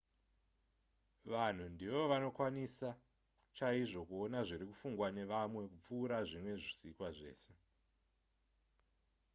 vanhu ndivo vanokwanisa chaizvo kuona zviri kufungwa nevamwe kupfuura zvimwe zvisikwa zvese